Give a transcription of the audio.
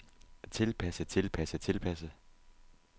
tilpasse tilpasse tilpasse